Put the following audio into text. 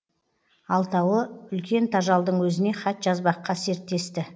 алтауы үлкен тажалдың өзіне хат жазбаққа серттесті